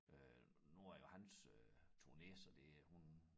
Øh nu er det jo hans øh turné så det hun